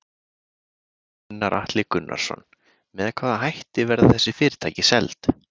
Gunnar Atli Gunnarsson: Með hvaða hætti verða þessi fyrirtæki seld?